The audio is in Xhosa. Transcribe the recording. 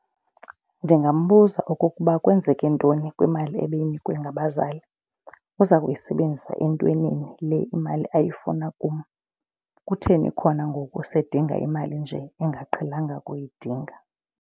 Ndingambuza okokuba kwenzeke ntoni kwimali ebeyinikwe ngabazali. Uza kuyisebenzisa entwenini le imali ayifuna kum, kutheni khona ngoku seyidinga imali nje engaqhelanga ukuyidinga.